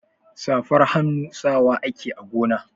Safar hannu sawa ake a gona.